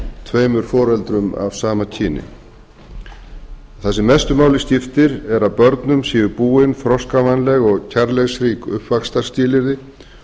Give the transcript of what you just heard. tveimur foreldrum af sama kyni það sem mestu máli skiptir er að börnum séu búin þroskavænleg og og kærleiksrík uppvaxtarskilyrði